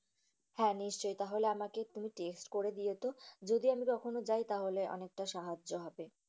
হ্যাঁ, নিশ্চয়ই, তাহলে আমাকে তুমি text করে দিওতো। যদি আমি কখনো যাই তাহলে অনেকটা সাহায্য হবে।